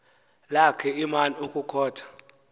lakhe iman ukukhotha